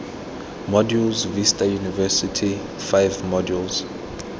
modules vista university five modules